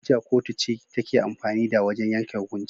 Hujja kotu ce take amfani da wajan yanke hukunci